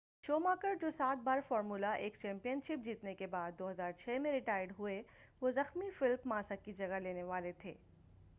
Schumacher جو سات بار فارمولہ 1 چیمپین شپ جیتنے کے بعد 2006 میں ریٹائرڈ ہوئے وہ زخمی فیلپ ماسا کی جگہ لینے والے تھے